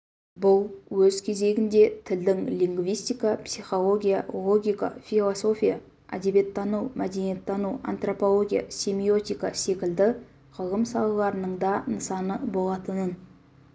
бұл өз кезегінде тілдің лингвистика психология логика философия әдебиеттану мәдениеттану антропология семиотика секілді ғылым салаларының да нысаны болатынын